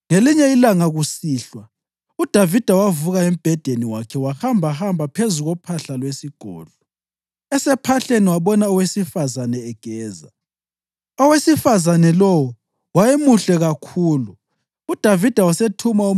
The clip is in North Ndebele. Ngelinye ilanga kusihlwa uDavida wavuka embhedeni wakhe wahambahamba phezu kophahla lwesigodlo. Esephahleni wabona owesifazane egeza. Owesifazane lowo wayemuhle kakhulu,